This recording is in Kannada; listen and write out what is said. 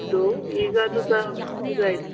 ಇತ್ತು. ಈಗ ಅದು ಸಹ ಇದಾಯ್ತು.